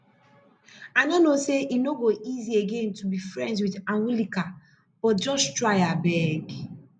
i know say e no go easy again to be friends with anwulika but just try abeg